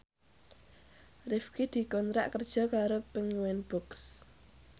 Rifqi dikontrak kerja karo Penguins Books